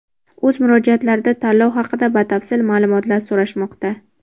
o‘z murojaatlarida tanlov haqida batafsil ma’lumotlar so‘rashmoqda.